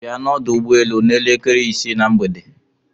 Bia n'ọdụ ụgbọelu n'elekere isii na mgbede.